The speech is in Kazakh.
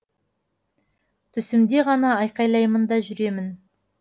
түсімде ғана айқайлаймын да жүремін